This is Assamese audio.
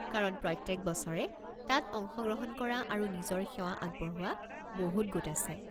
কাৰণ প্ৰত্যেক বছৰে তাত অংশগ্ৰহণ কৰা আৰু নিজৰ সেৱা আগবঢ়োৱা বহুত গোট আছে ।